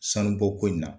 Sanubɔko in na